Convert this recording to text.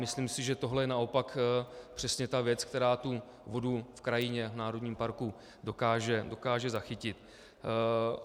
Myslím si, že tohle je naopak přesně ta věc, která tu vodu v krajině, v národním parku dokáže zachytit.